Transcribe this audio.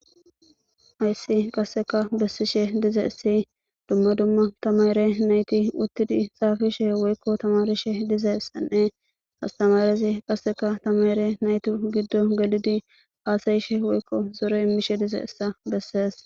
Aysi qasseka bessishe dize issi dumma dumma tamare nayti uttidi xaafishe woykko tamarishe dize ssenne astamarezi qasseka tamare naytu giddo galidi haasayishe woykko zore immishe dize issa bessees.